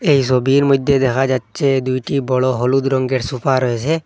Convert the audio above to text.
এই সবির মইধ্যে দেখা যাচ্ছে দুইটি বড় হলুদ রঙ্গের সোফা রয়েসে।